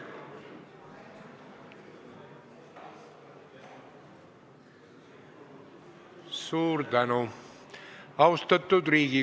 Suur tänu!